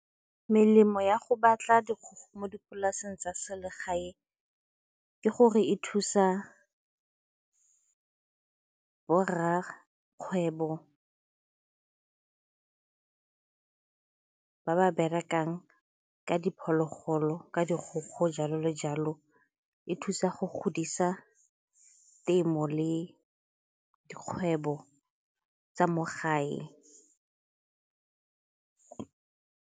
Melemo ya go batla mo dipolaseng tsa selegae ke gore e thusa borrakgwebo ba ba berekang ka diphologolo, ka dikgogo, jalo le jalo. E thusa go godisa temo le dikgwebo tsa mo gae.